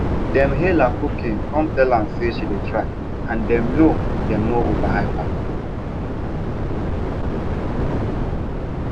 dem hail her cooking cum tell her say she dey try and dem no dem no overhype her